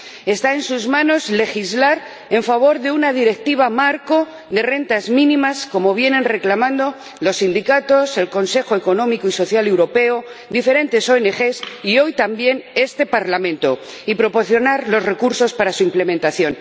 Está en sus manos legislar en favor de una Directiva marco de rentas mínimas, como vienen reclamando los sindicatos, el Comité Económico y Social Europeo, diferentes ONG y hoy también este Parlamento, y proporcionar los recursos para su implementación.